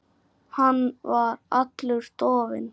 Hann var allur dofinn.